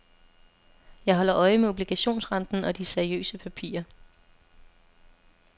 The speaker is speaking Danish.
Jeg holder øje med obligationsrenten og de seriøse papirer.